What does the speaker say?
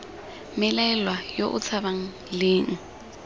mmelaelwa yo o tshabang leng